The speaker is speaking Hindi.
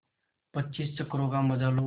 पच्चीस चक्करों का मजा लो